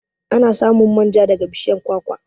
Ana samun manja daga bishiyar kwakwa.